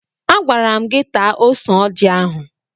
Agwara m gị taa ose ọjị ahụ!